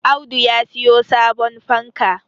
Audu ya siyo sabon fanka